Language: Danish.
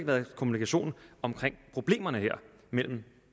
været kommunikation om problemerne her mellem